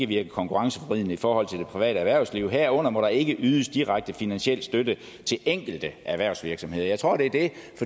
virke konkurrenceforvridende i forhold til det private erhvervsliv herunder må der ikke ydes direkte finansiel støtte til enkelte erhvervsvirksomheder jeg tror det